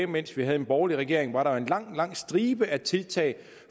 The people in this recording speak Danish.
mens vi havde en borgerlig regering var der jo en lang lang stribe af tiltag